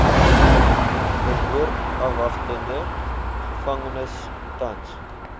verhoorafwagtende gevangenes tans